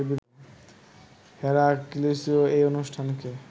হেরাক্লিসই এই অনুষ্ঠানকে